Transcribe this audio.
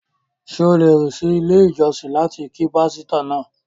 Ṣé o lè rìn sí ilé ìjọsìn láti kí pástọ́ náà?